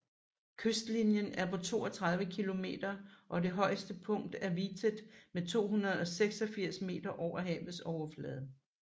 Kystlinjen er på 32 km og det højeste punkt er Vitet med 286 meter over havets overflade